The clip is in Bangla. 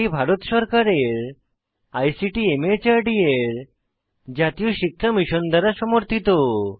এটি ভারত সরকারের আইসিটি মাহর্দ এর জাতীয় সাক্ষরতা মিশন দ্বারা সমর্থিত